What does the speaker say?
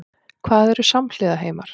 Hvað eru samhliða heimar?